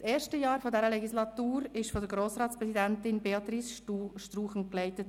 Das erste Jahr der Legislatur wurde von Grossratspräsidentin Béatrice Struchen geleitet.